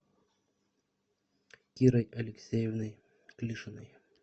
кирой алексеевной клишиной